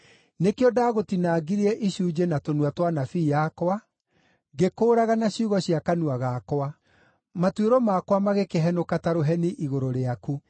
Nĩkĩo ndaagũtinangirie icunjĩ na tũnua twa anabii akwa, ngĩkũũraga na ciugo cia kanua gakwa; matuĩro makwa magĩkĩhenũka ta rũheni igũrũ rĩaku.